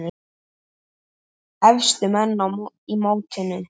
Efstu menn í mótinu